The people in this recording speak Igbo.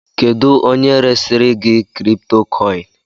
Kedu onye resirigi kripitokoini?